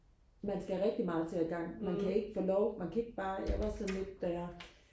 man skal rigtig meget til og igang man kan ikke få lov man kan ikke bare jeg var sådan lidt da jeg